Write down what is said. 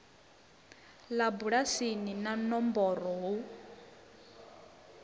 ḽa bulasi na nomboro hu